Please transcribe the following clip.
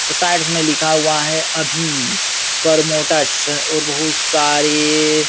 उस साइड्स में लिखा हुआ है अभि गोरमोटस और बहुत सारे --